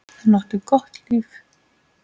Hún átti gott líf.